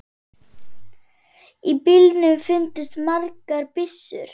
Í bílnum fundust margar byssur.